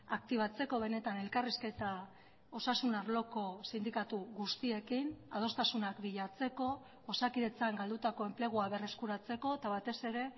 aktibatzeko benetan elkarrizketa osasun arloko sindikatu guztiekin adostasunak bilatzeko osakidetzan galdutako enplegua berreskuratzeko eta batez ere